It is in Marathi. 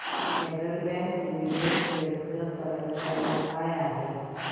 फेडरल बँक लिमिटेड शेअर्स ची करंट प्राइस काय आहे